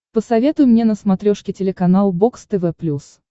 посоветуй мне на смотрешке телеканал бокс тв плюс